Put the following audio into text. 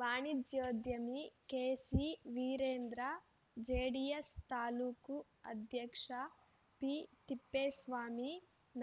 ವಾಣಿಜ್ಯೋದ್ಯಮಿ ಕೆಸಿವೀರೇಂದ್ರ ಜೆಡಿಎಸ್‌ ತಾಲೂಕು ಅಧ್ಯಕ್ಷ ಪಿತಿಪ್ಪೇಸ್ವಾಮಿ